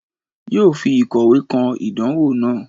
yoo fi ìkọwẹ́ kọ́ idanwo naa.